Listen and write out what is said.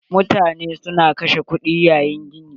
Mutane su na kashe kuɗi yayin gini.